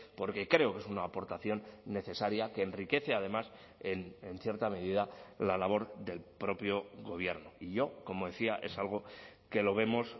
porque creo que es una aportación necesaria que enriquece además en cierta medida la labor del propio gobierno y yo como decía es algo que lo vemos